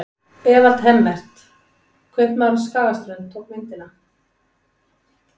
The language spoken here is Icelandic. Evald Hemmert, kaupmaður á Skagaströnd, tók myndina.